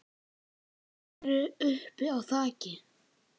Þeir eru uppi á þaki.